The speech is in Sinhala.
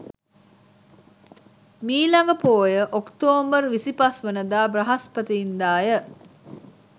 මීළඟ පෝය ඔක්තෝබර් 25 වන දා බ්‍රහස්පතින්දා ය.